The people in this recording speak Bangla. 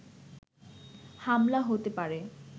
হামলা হতে পারে